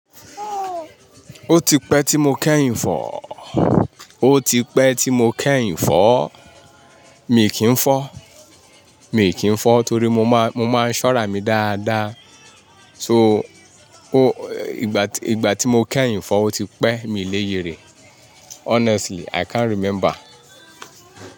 Ó ti pẹ́ tí mo kẹ́yìn fọ́, ó ti pẹ́ tí mo kẹ́yìn fọ́. Mi kì í fọ́, mi kì í fọ́ torí mo máa, mo máa ń ṣọ́ra mi dáadáa. So, ó, ìgbà tí mo kẹ́yìn fọ́ ó ti pẹ́. Mi lè yè rẹ̀. Honestly, i can't remember.